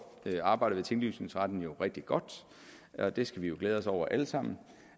arbejdet ved tinglysningsretten jo rigtig godt og det skal vi glæde os over alle sammen og